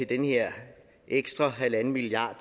den her ekstra en milliard